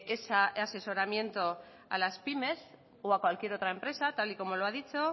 esa asesoramiento a las pymes o a cualquier otra empresa tal y como lo ha dicho